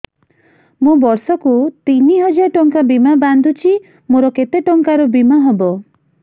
ମୁ ବର୍ଷ କୁ ତିନି ହଜାର ଟଙ୍କା ବୀମା ବାନ୍ଧୁଛି ମୋର କେତେ ଟଙ୍କାର ବୀମା ହବ